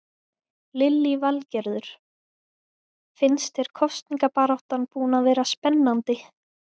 Lillý Valgerður: Finnst þér kosningabaráttan búin að vera spennandi?